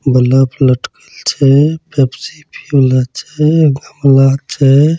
बलप लटकल छे पेप्सी पिये वाला छे गमला छे।